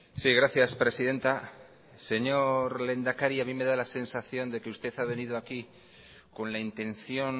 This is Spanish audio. sí gracias presidenta señor lehendakari a mí me da la sensación de que usted ha venido aquí con la intención